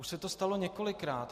Už se to stalo několikrát.